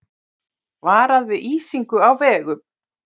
Varað við ísingu á vegum